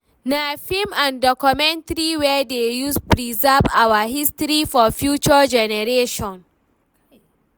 Na film and documentary we dey use preserve our history for future generation.